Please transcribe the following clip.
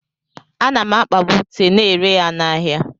Ana m akpabu ute na-ere ya n'ahịa.